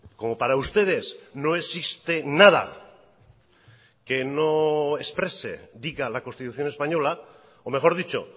como para ustedes no existe nada que no exprese diga la constitución española o mejor dicho